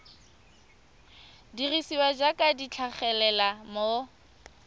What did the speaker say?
dirisiwa jaaka di tlhagelela mo